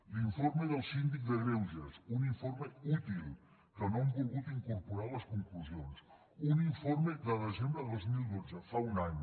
l’informe del síndic de greuges un informe útil que no han volgut incorporar a les conclusions un informe del desembre de dos mil dotze fa un any